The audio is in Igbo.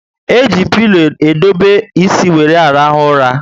E ji pilo edobe ísì wéré arahu ura